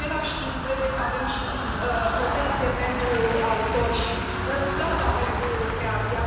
În același timp, trebuie să avem și protecție pentru autor și răsplata pentru creație.